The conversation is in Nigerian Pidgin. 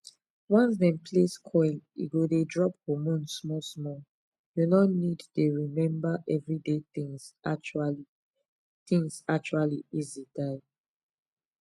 once dem place coil e go dey drop hormone small small you no need dey remember everyday things actually things actually easy die